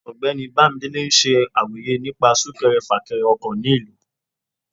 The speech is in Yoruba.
ọgbẹni bamidele n ṣe àrọyé nípa sunkèré-fakere ọkọ ní ìlú